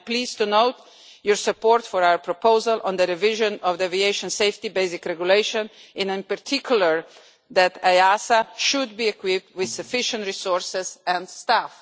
I am pleased to note your support for our proposal on the revision of the aviation safety basic regulation and in particular that EASA should be equipped with sufficient resources and staff.